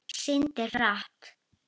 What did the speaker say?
Syndir hratt.